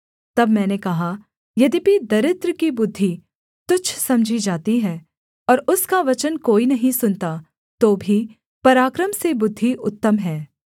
तब मैंने कहा यद्यपि दरिद्र की बुद्धि तुच्छ समझी जाती है और उसका वचन कोई नहीं सुनता तो भी पराक्रम से बुद्धि उत्तम है